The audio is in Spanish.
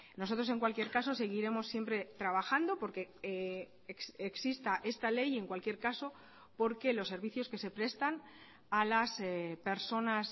nosotros en cualquier caso seguiremos siempre trabajando porque exista esta ley y en cualquier caso porque los servicios que se prestan a las personas